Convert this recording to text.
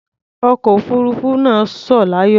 Ọkọ̀ òfuruufú náà sọ̀ láyọ̀.